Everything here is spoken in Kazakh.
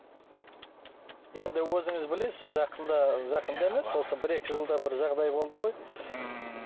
енді өзіңіз білесіз жақында жақында емес осы бір екі жылда бір жағдай болды ғой ммм